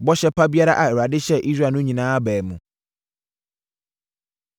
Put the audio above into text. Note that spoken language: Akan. Bɔhyɛ pa biara a Awurade hyɛɛ Israel no nyinaa baa mu.